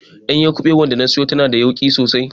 Ɗanyar kubewar da na siyo tana da yauƙi sosai.